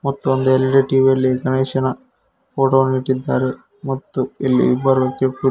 ಮತ್ತು ಅಲ್ಲಿ LED TV ಯೆಲ್ಲಿ ಗಣೇಶನ ಫೋಟೋ ವನ್ನು ಇಟ್ಟಿದ್ದಾರೆ ಮತ್ತು ಇಲ್ಲಿ ಇಬ್ಬರು .